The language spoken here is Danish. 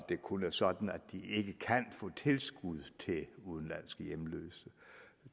det kun er sådan at de ikke kan få tilskud til udenlandske hjemløse